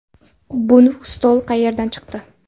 Bu stol qayerdan chiqdi?